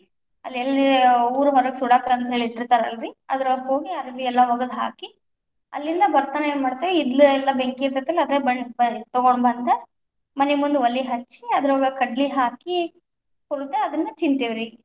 ಅಲ್ಲೆಲ್ಲಿ ಊರ ಹೊರಗ್ ಸುಡಾಕಂತ್ರ ಇಟ್ಟಿರ್ತಾರಲ್ಲರ್ರಿ, ಅದರಾಗ ಹೋಗಿ ಅರ್ಬಿ ಎಲ್ಲಾ ಒಗದ ಹಾಕಿ, ಅಲ್ಲಿಂದ ಬರ್ತಾನ ಏನ್ ಮಾಡ್ತೇವಿ ಇದ್ಲಿ ಎಲ್ಲಾ ಬೆಂಕಿ ಇತೇ೯ತಲ್ಲ ಅದ ತಗೊಂಡ ಬಂದು ಮನಿ ಮುಂದ ಒಲಿ ಹಚ್ಚಿ, ಅದರೊಳಗ ಕಡ್ಲಿ ಹಾಕಿ, ಹುರದ ಅದನ್ನ ತಿಂತೇವ್ರಿ.